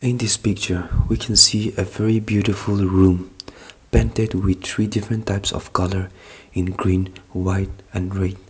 in this picture we can also see a very beautiful room painted with three differents of colours in green white and red.